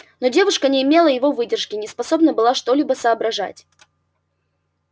но девушка не имела его выдержки и не способна была что-либо соображать